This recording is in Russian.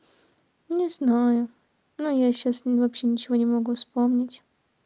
не знаю но я сейчас не вообще ничего не могу вспомнить